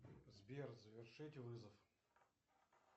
сбер завершить вызов